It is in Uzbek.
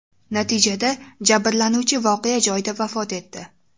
Natijada jabrlanuvchi voqea joyida vafot etdi.